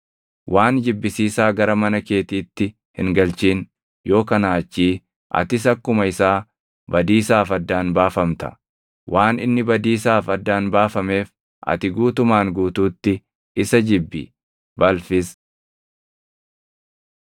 Waan jibbisiisaa gara mana keetiitti hin galchin; yoo kanaa achii atis akkuma isaa badiisaaf addaan baafamta. Waan inni badiisaaf addaan baafameef ati guutumaan guutuutti isa jibbi; balfis.